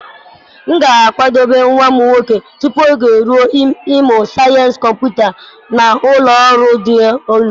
M ga-akwadebe nwa m nwoke tupu oge eruo ịmụ sayensị kọmputa na ụlọ ọrụ dị elu.